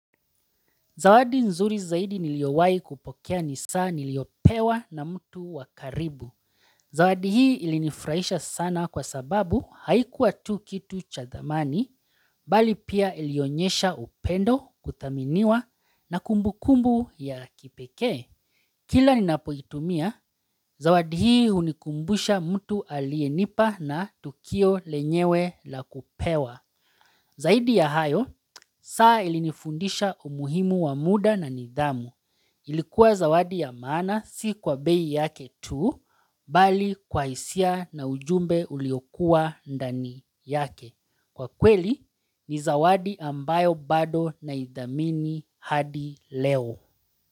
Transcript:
Zawadi nzuri zaidi niliyowai kupokea ni saa niliyopewa na mtu wakaribu. Zawadi hii ilinifurahisha sana kwa sababu haikuwa tu kitu cha thamani, bali pia ilionyesha upendo, kuthaminiwa na kumbukumbu ya kipeke. Kila ninapoitumia, zawadi hii hunikumbusha mtu aliyenipa na tukio lenyewe la kupewa. Zaidi ya hayo, saa ilinifundisha umuhimu wa muda na nidhamu. Ilikuwa zawadi ya maana si kwa bei yake tu, bali kwa hisia na ujumbe uliokuwa ndani yake. Kwa kweli, ni zawadi ambayo bado naidhamini hadi leo.